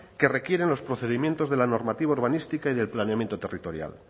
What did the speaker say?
que requieren los procedimientos de la normativa urbanística y del planeamiento territorial